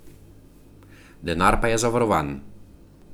Denar pa je zavarovan.